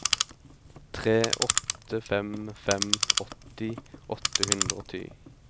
tre åtte fem fem åtti åtte hundre og ti